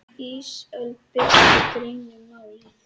Ísafold birti grein um málið